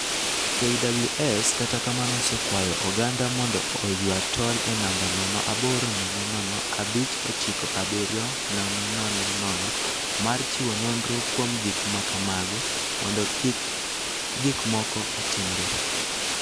KWS kata kamano osekwayo oganda mondo oywa tol e namba 0800597 000 mar chiwo nonro kuom gik ma kamago, mondo kik gik moko otimre.